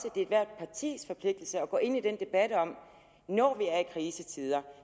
er ethvert partis forpligtelse at gå ind i den debat når vi er i krisetider